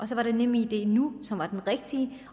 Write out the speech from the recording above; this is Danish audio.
så var nemidnu som var den rigtige